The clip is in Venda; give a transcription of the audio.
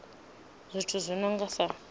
zwithu zwi no nga sa